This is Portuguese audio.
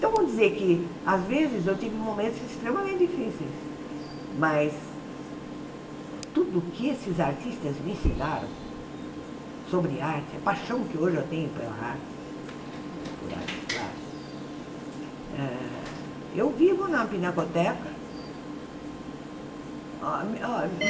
Então, vamos dizer que, às vezes, eu tive momentos extremamente difíceis, mas tudo o que esses artistas me ensinaram sobre arte, a paixão que hoje eu tenho pela arte, por artes plásticas ah... Eu vivo na Pinacoteca. A a